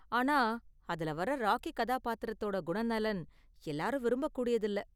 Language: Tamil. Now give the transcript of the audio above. ஆனா அதுல வர்ற ராக்கி கதாபாத்திரத்தோட குணநலன் எல்லாரும் விரும்பக்கூடியதில்ல.